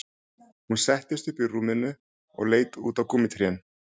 Hún settist upp í rúminu og leit út á gúmmítrén